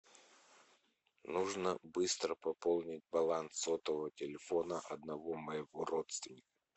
нужно быстро пополнить баланс сотового телефона одного моего родственника